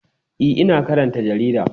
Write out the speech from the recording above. E, ina karanta jarida.